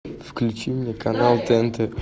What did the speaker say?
включи мне канал тнт